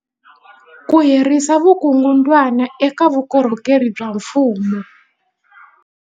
Ku herisa vukungundwani eka vukorhokeri bya mfumo